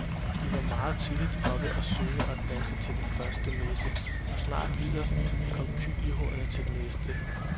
De var meget tidligt oppe og synge og danse til den første messe, og snart lyder konkyliehornet til den næste.